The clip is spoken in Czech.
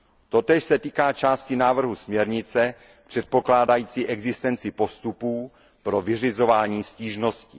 Totéž se týká části návrhu směrnice předpokládající existenci postupů pro vyřizování stížností.